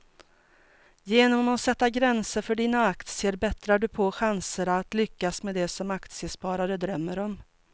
Genom att sätta gränser för dina aktier bättrar du på chanserna att lyckas med det som aktiesparare drömmer om.